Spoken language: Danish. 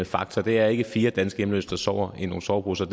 faktor det er ikke fire danske hjemløse der sover i nogle soveposer